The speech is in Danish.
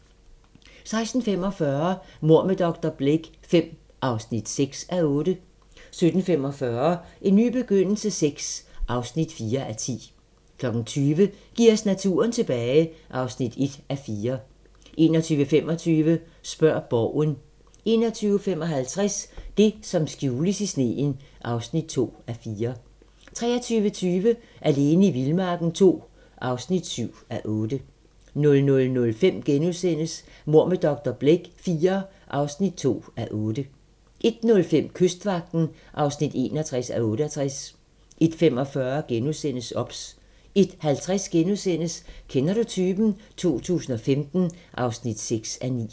16:45: Mord med dr. Blake V (6:8) 17:45: En ny begyndelse VI (4:10) 20:00: Giv os naturen tilbage (1:4) 21:25: Spørg Borgen 21:55: Det, som skjules i sneen (2:4) 23:20: Alene i vildmarken II (7:8) 00:05: Mord med dr. Blake IV (2:8)* 01:05: Kystvagten (61:68) 01:45: OBS * 01:50: Kender du typen? 2015 (6:9)*